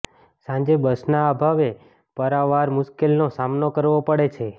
સાંજે બસના અભાવે પારાવાર મુશ્કેલીનો સામનો કરવો પડે છે